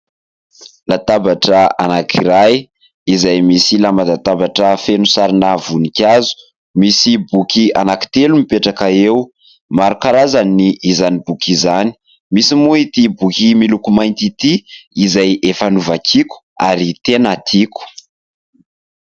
Latabatra anankiray izay misy lamba latabatra feno sarina voninkazo. Misy boky anankitelo mipetraka eo. Maro karazany izany boky izany. Misy moa ity boky miloko mainty ity izay efa novakiako ary tena tiako.